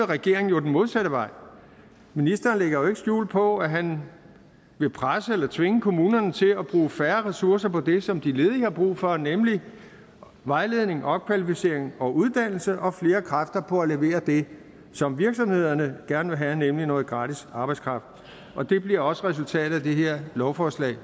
regeringen jo den modsatte vej ministeren lægger jo ikke skjul på at han vil presse eller tvinge kommunerne til at bruge færre ressourcer på det som de ledige har brug for nemlig vejledning opkvalificering og uddannelse og bruge flere kræfter på at levere det som virksomhederne gerne vil have nemlig noget gratis arbejdskraft og det bliver også resultatet af det her lovforslag